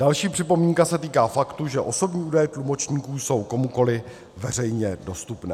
Další připomínka se týká faktu, že osobní údaje tlumočníků jsou komukoli veřejně dostupné.